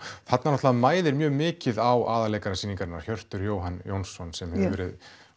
þarna náttúrulega mæðir mjög mikið á aðalleikara sýningarinnar Hjörtur Jóhann Jónsson sem hefur farið